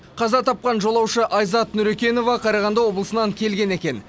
қаза тапқан жолаушы айзат нүрекенова қарағанды облысынан келген екен